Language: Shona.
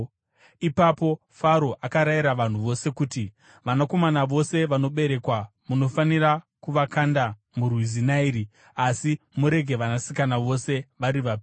Ipapo Faro akarayira vanhu vose kuti, “Vanakomana vose vanoberekwa munofanira kuvakanda murwizi Nairi, asi murege vanasikana vose vari vapenyu.”